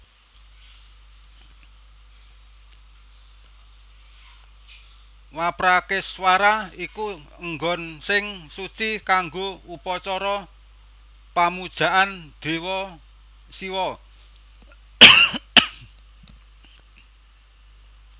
Waprakeswara iku enggon sing suci kanggo upacara pamujaan dewa Syiwa